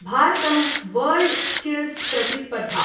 भारतम् वर्ल्डस्किल्स् प्रतिस्पर्धा